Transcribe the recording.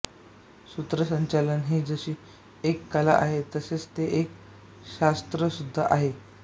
सूत्रसंचालन हि जशी एक कला आहे तसेच ते एक शास्त्राशुद्धा आहे